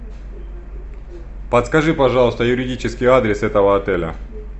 подскажи пожалуйста юридический адрес этого отеля